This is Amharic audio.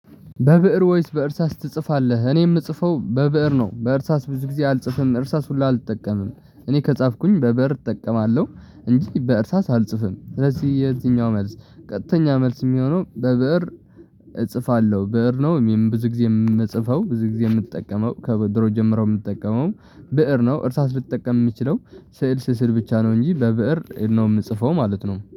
በብእር ወይስ በእርሳስ ትጽፋለህ? እኔ የምጽፈው በብእር ነው በእርሳስ ብዙ ጊዜ አልጽፍም እርሳስ ሁሉ አልጠቀምም እኔ ከጻፍኩኝ በበር እጠቀማለሁ እንጂ በእርሳስ አልጽፍም ስለዚህ የዚህኛው መልስ ቀጥተኛ መልስ የሚሆነው በብእር እጽፋለሁ ብእር ነው። ብዙ ጊዜ የምጽፈው ብዙ ጊዜ የምትጠቀመው ከድሮ ጀምረው የምትጠቀመው ብእር ነው። እርሳስ ልትጠቀም የሚችለው ስዕል ስስድ ብቻ ነው እንጂ በብእር ነው የምጽፈው ማለት ነው